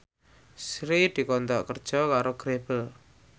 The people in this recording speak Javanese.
Sri dikontrak kerja karo Grebel